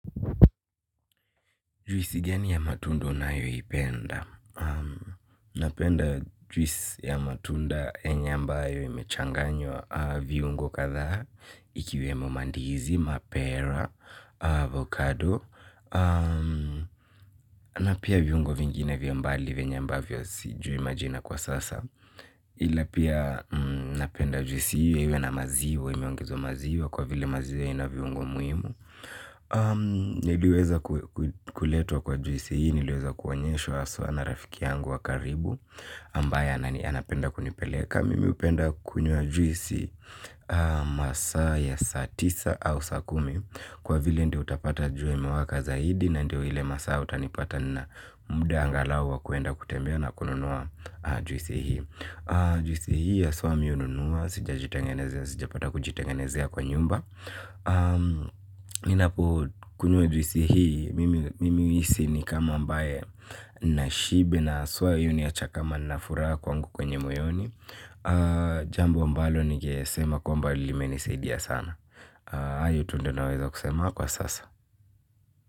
Jwisi gani ya matunda unayoipenda. Napenda jwisi ya matunda yenye ambayo imechanganywa viungo kadhaa. Ikiwemo mandizi, mapera, avokado. Na pia viungo vingine vya mbali vyenye ambavyo sijui majina kwa sasa. Ila pia napenda jwisi hiyo iwe na maziwa, imeongezwa maziwa kwa vile maziwa ina viungo muhimu. Weza kuletwa kwa jwisi hii niliweza kuonyeshwa haswa na rafiki yangu wa karibu ambaya anapenda kunipeleka, mimi hupenda kunywa jwisi masaa ya saa tisa au saa kumi Kwavile ndo utapata jua imewaka zaidi na ndo ile masaa utanipata na muda angalau wa kuenda kutembea na kununua juisi hii. Jwisi hii haswa mi hununua sijajitengenezea sijapata kujitengenezea kwa nyumba. Ninapo kunywa juisi hii mimi huisi ni kama ambaye na shibe na haswa hiyo huniacha kama nina furaha kwangu kwenye moyoni. Jambo ambalo ningesema kwamba limenisaidia sana. Hayo tu ndo naweza kusema kwa sasa.